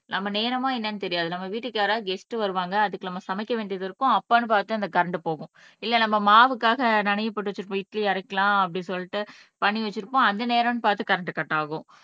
நம்ம நேரமா என்னன்னு தெரியாது நம்ம வீட்டுக்கு யாராவது கெஸ்ட் வருவாங்க அதுக்கு நம்ம சமைக்க வேண்டியது இருக்கும் அப்பான்னு பார்த்து அந்த கரண்ட் போகும் இல்ல நம்ம மாவுக்காக நனையப் போட்டு வச்சிட்டு போய் இட்லி அரைக்கலாம் அப்படி சொல்லிட்டு பண்ணி வச்சிருப்போம் அந்த நேரம்னு பார்த்து கரண்ட் கட் ஆகும்